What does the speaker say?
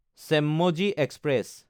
চেম্মজি express